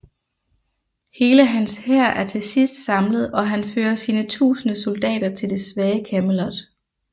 Hele hans hær er til sidst samlet og han fører sine tusinde soldater til det svage Camelot